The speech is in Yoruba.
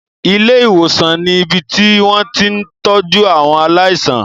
Ilé-ìwòsàn ni ibi tí wọ́n ti ń tọ́jú àwọn aláìsàn.